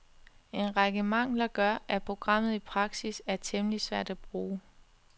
En række mangler gør, at programmet i prakis er temmelig svært at bruge.